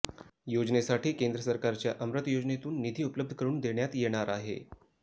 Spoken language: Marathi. योजनेसाठी केंद्र सरकारच्या अमृत योजनेतून निधी उपलब्ध करून देण्यात येणार आहे